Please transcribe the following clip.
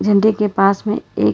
झंडे के पास में एक--